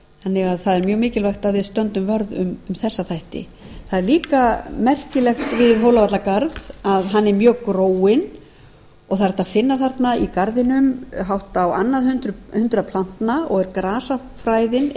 þannig að það er mjög mikilvægt að við stöndum vörð um þessa þætti það er líka merkilegt við hólavallagarð að hann er mjög gróinn og það er hægt að finna þarna í garðinum hátt á annað hundrað plantna og er grasafræðina